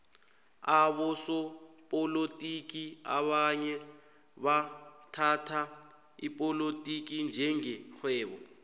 abosopolotiki abanye bathhatha ipolotiki njenge rhwebo